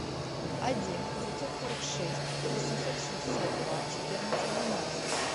один девятьсот сорок шесть восемьсот шестьдесят два четырнадцать двенадцать